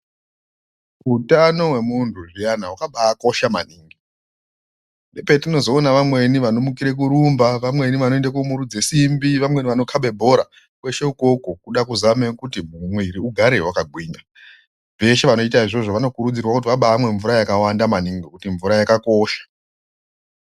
Utano hwemuntu zviyana hwakabaakosha maningi. Ndopeyinozoona vamweni vanomukire kurumba, vamweni vanoende komirudze simbi, vamweni vanokhabe bhora. Kweshe ukoko kuda kuzame kuti mwiiri ugare wakagwinya. Veshe vanoita izvozvo, vanokurudzirwa kuti vabaamwa mvura yakawanda maningi ngekuti mvura yakakosha .